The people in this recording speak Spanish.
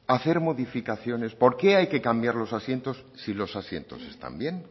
hacer modificaciones por qué hay que cambiar los asientos si los asientos están bien